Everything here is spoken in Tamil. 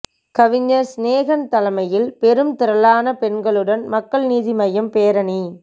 கவிஞர் சினேகன் தலைமையில் பெரும் திரளான பெண்களுடன் மக்கள் நீதி மய்யம் பேரணி